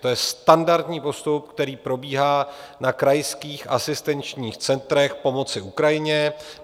To je standardní postup, který probíhá na krajských asistenčních centrech pomoci Ukrajině.